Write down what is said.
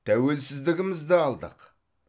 тәуелсіздігімізді алдық